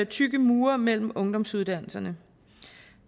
tykke mure mellem ungdomsuddannelserne